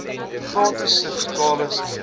gratis servikale smere